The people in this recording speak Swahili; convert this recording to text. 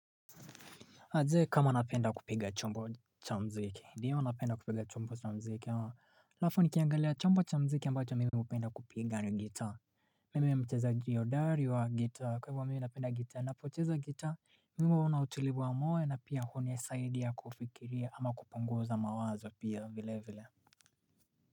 Na je kama anapenda kupiga chombo cha mziki, ndiyo anapenda kupiga chombo cha mziki ama, alafu nikiangalia chombo cha mziki ambacho mimi hupenda kupiga ni gitaa, mimi ni mchezaji hodari wa gita, kwa hivyo mimi hupenda gita, napoteza gita, mimi huwa nautulivu wa moyo na pia huni saidia kufikiria ama kupunguza mawazo pia vile vile.